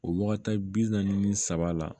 O wagati bi naani ni saba la